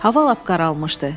Hava lap qaralmışdı.